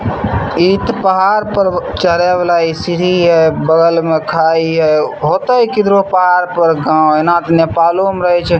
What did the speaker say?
इ ते पहाड़ पर चढ़े वाला इ सीढ़ी हेय बगल में खाई हेय होएते किधरो पहाड़ पर गांव एना ते नेपालो में रहे छै।